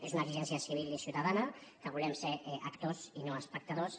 és una exigència civil i ciutadana que volem ser actors i no espectadors